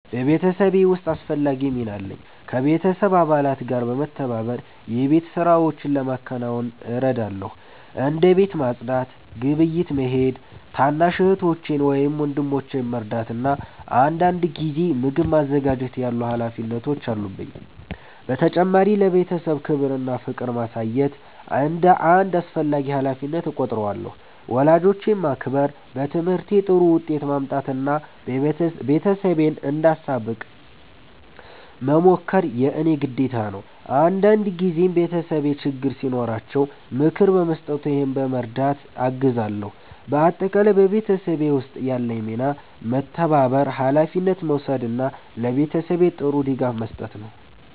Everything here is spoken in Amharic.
በቤተሰቤ ውስጥ አስፈላጊ ሚና አለኝ። ከቤተሰብ አባላት ጋር በመተባበር የቤት ሥራዎችን ለማከናወን እረዳለሁ። እንደ ቤት ማጽዳት፣ ግብይት መሄድ፣ ታናሽ እህቶቼን ወይም ወንድሞቼን መርዳት እና አንዳንድ ጊዜ ምግብ ማዘጋጀት ያሉ ሀላፊነቶች አሉብኝ። በተጨማሪም ለቤተሰቤ ክብር እና ፍቅር ማሳየት እንደ አንድ አስፈላጊ ሀላፊነት እቆጥራለሁ። ወላጆቼን ማክበር፣ በትምህርቴ ጥሩ ውጤት ማምጣት እና ቤተሰቤን እንዳሳብቅ መሞከር የእኔ ግዴታ ነው። አንዳንድ ጊዜም ቤተሰቤ ችግር ሲኖራቸው ምክር በመስጠት ወይም በመርዳት አግዛለሁ። በአጠቃላይ በቤተሰብ ውስጥ ያለኝ ሚና መተባበር፣ ሀላፊነት መውሰድ እና ለቤተሰቤ ጥሩ ድጋፍ መስጠት ነው።